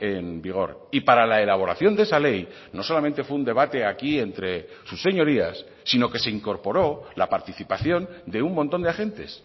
en vigor y para la elaboración de esa ley no solamente fue un debate aquí entre sus señorías sino que se incorporó la participación de un montón de agentes